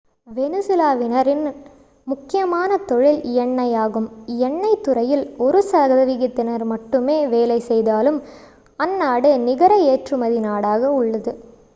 வெனிசுலாவினரின் முக்கியமான தொழில் எண்ணெய் ஆகும் எண்ணெய் துறையில் ஒரு சதவிகிதத்தினர் மட்டுமே வேலை செய்தாலும் அந்நாடு நிகர ஏற்றுமதி நாடாக உள்ளது